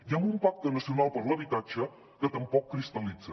i amb un pacte nacional per a l’habitatge que tampoc cristal·litza